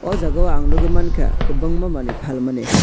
o jaga ang nogoi mangka kobangma manui phalmani.